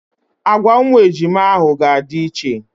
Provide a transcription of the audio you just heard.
Agwa ụmụ ejima ahụ ga-adị iche.